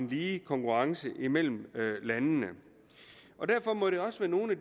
lige konkurrence mellem landene derfor må der også være nogle